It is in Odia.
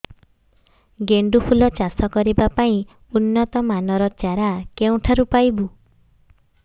ଗେଣ୍ଡୁ ଫୁଲ ଚାଷ କରିବା ପାଇଁ ଉନ୍ନତ ମାନର ଚାରା କେଉଁଠାରୁ ପାଇବୁ